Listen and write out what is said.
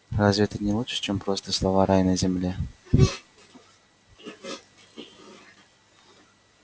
разве это не лучше чем просто слова рай на земле